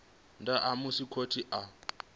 nnḓa ha musi khothe kana